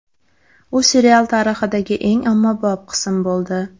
U serial tarixidagi eng ommabop qism bo‘ldi.